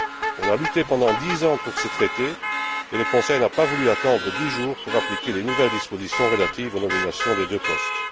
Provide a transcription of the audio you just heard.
On a lutté pendant dix ans pour ce Traité, et le Conseil n'a pas voulu attendre dix jours pour appliquer les nouvelles dispositions relatives aux nominations des deux postes.